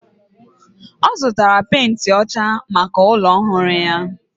O zutara penti ocha maka ulo ohuru ya.